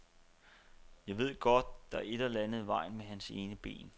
Jeg ved godt, der er et eller andet i vejen med hans ene ben.